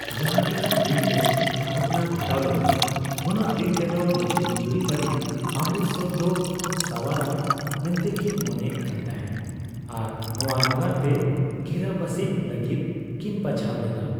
ᱡᱟᱦᱟ ᱛᱤᱱᱟᱹᱜ ᱫᱤᱱ ᱛᱮ ᱜᱷᱚᱴᱚᱱᱟ ᱜᱷᱚᱴᱟᱣ ᱞᱮᱱᱟ, ᱩᱱᱟᱹᱜ ᱫᱤᱱ ᱛᱮᱫᱚ ᱱᱩᱠᱤᱱ ᱡᱩᱨᱤ ᱯᱟᱹᱨᱤ ᱚᱢᱨᱤᱛᱥᱚᱨ ᱫᱚ ᱥᱟᱣᱟᱨ ᱟᱱ ᱢᱮᱱᱛᱮ ᱠᱤᱱ ᱢᱚᱱᱮᱭᱮᱫ ᱠᱟᱱ ᱛᱟᱸᱦᱮ ᱟᱨ ᱱᱚᱭᱟᱹ ᱱᱟᱜᱟᱨ ᱜᱮ ᱜᱤᱨᱟᱹᱵᱟᱥᱤᱜ ᱞᱟᱹᱜᱤᱫ ᱠᱤᱱ ᱵᱟᱪᱷᱟᱣ ᱞᱮᱫᱟ ᱾